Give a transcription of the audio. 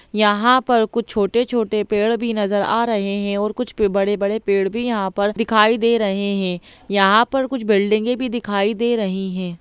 यहाँ पर कुछ छोटे-छोटे पेड़ भी नजर आ रहे हैं और कुछ प बड़े-बड़े पेड़ भी यहाँ पर दिखाई दे रहे हैं यहाँ पर कुछ बिल्डिंगें भी दिखाई दे रही हैं।